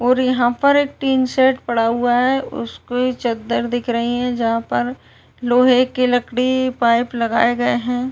और यहाँ पर एक टीन शैड पड़ा हुआ हैं। उसपे चदर दिख रही हैं जहाँ पर लोहे की लकड़ी पाइप लगाये गए हैं।